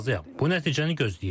Bu nəticəni gözləyirdim.